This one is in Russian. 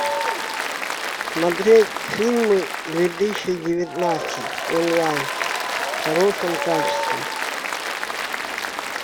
смотреть фильмы две тысячи девятнадцать онлайн в хорошем качестве